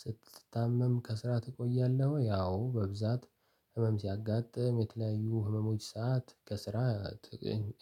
ስትታመም ከስራ ተቆያለህ ወይ? አዎ በብዛት ህመም ሲያጋጥም የተለያዩ ህመሞች ሰዓት ከስራ ት